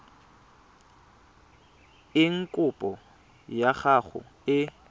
eng kopo ya gago e